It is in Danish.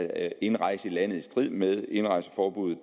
at indrejse i landet i strid med et indrejseforbud